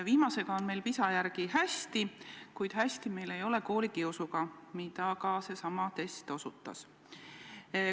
Viimasega on meil PISA testide järgi hästi, kuid hästi ei ole meil koolikiusuga, mida ka seesama test osutas.